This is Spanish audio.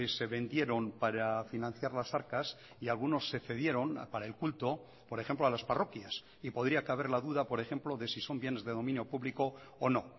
se vendieron para financiar las arcas y algunos se cedieron para el culto por ejemplo a las parroquias y podría caber la duda por ejemplo de si son bienes de dominio público o no